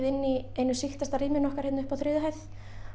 í einu sýktasta rýminu okkar hérna uppi á þriðju hæð